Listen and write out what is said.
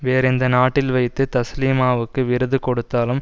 வேறு எந்த நாட்டில் வைத்து தஸ்லிமாவுக்கு விருது கொடுத்தாலும்